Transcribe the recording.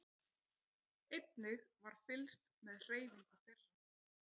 Einnig var fylgst með hreyfingu þeirra